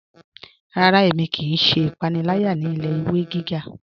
Rárá, ẹ̀mi kíí ṣẹ́ ìpànìlàyà ní ilẹ̀-ìwé gígá.